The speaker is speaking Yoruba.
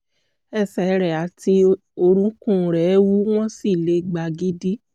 ẹsẹ̀ rẹ̀ àti orúnkún rẹ̀ wú wọ́n sì le gbagidi